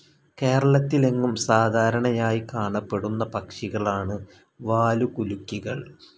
കേരളത്തിലെങ്ങും സാധാരണയായി കാണപ്പെടുന്ന പക്ഷികളാണ് വാലുകുലുക്കികൾ.